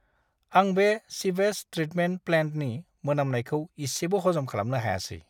आं बे sewage treatment प्लान्टनि मोनामनायखौ इसेबो हजम खालामनो हायासै!